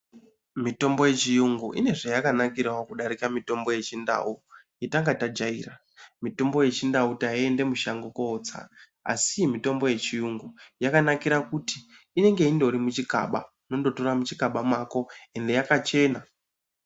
Mitombo yechiyungu ine zvayakanakirawo kudarika mitombo yechindau yetangabtajaira mitombo yechindau tiende mushango kotsa asi iyi mitombo yechiyungu yakanakira kuti inenge indori muchikaba unondotora muchikaba mako ende yakachena.